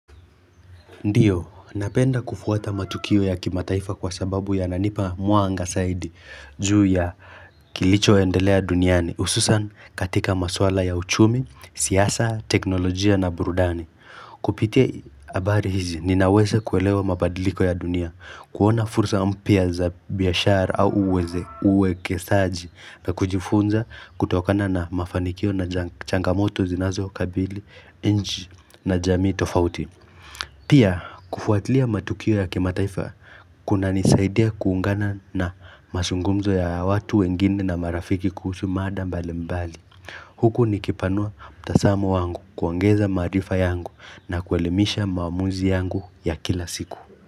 Ndiyo, napenda kufuata matukio ya kimataifa kwa sababu yananipa mwanga saidi juu ya kilichoendelea duniani ususan katika maswala ya uchumi, siasa, teknolojia na burudani. Kupitia abari hizi, ninaweza kuelewa mabadiliko ya dunia, kuona fursa mpya za biashara au uweze uwekesaji na kujifunza kutokana na mafanikio na changamoto zinazokabili, nchi na jamii tofauti. Pia kufuatilia matukio ya kimataifa kunanisaidia kuungana na masungumzo ya watu wengine na marafiki kuhusu mada mbalimbali. Huku nikipanua mtasamo wangu kuongeza maarifa yangu na kuelimisha maamuzi yangu ya kila siku.